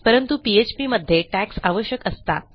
परंतु पीएचपी मध्ये tagsआवश्यक असतात